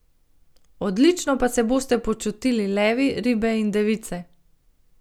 Odlično pa se boste počutili levi, ribe in device.